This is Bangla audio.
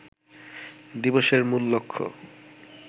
দিবসের মূল লক্ষ্য